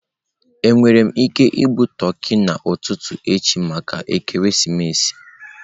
Enwere m ike igbu toki n'ụtụtụ echi maka ekeresimesi?